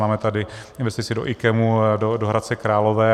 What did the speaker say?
Máme tady investici do IKEMu, do Hradce Králové.